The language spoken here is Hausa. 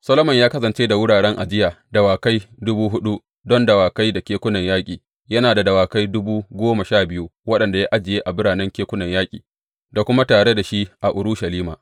Solomon ya kasance da wuraren ajiye dawakai dubu huɗu don dawakai da kekunan yaƙi, yana da dawakai dubu goma sha biyu waɗanda ya ajiye a biranen kekunan yaƙi da kuma tare da shi a Urushalima.